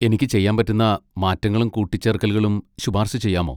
എനിക്ക് ചെയ്യാൻ പറ്റുന്ന മാറ്റങ്ങളും കൂട്ടിച്ചേർക്കലുകളും ശുപാർശ ചെയ്യാമോ?